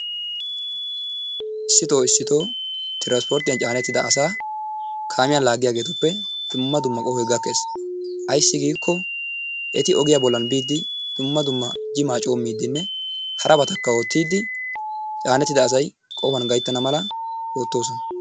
Issitoo issitoo transporttiyaa caanettida asaa kaamiyaa laaggiyageetuppe dumma dumma qohoy gakkees. ayssi giiko eti ogiyaa bollan biide dumma dumma jimaa coommidenne harabatakka oottidi caanettida asay qohuwan gayttana mala oottoosona.